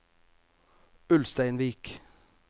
Ulsteinvik